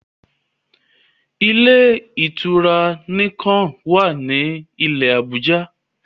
Ilé-ìtura Nicon wá ní ilé Abuja